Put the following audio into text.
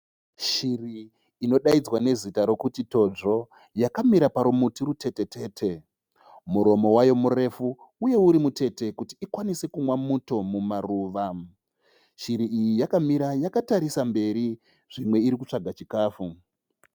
Shiri inodaidzwa nezita rokuti todzvo. Yakamira parumuti rutete tete. Muromo wayo murefu uye uri mutete kuti ikwanise kumwa muti mumaruva. Shiri iyi yakamira yakatarisa mberi zvimwe irikutsvaga chikafu.